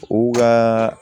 U ka